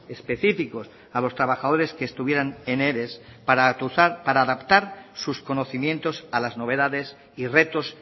específicos a los trabajadores que estuvieran en ere para adaptar sus conocimientos a las novedades y retos